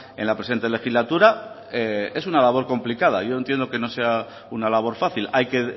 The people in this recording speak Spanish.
en la presente legislatura es una labor complicada yo entiendo que no sea una labor fácil hay que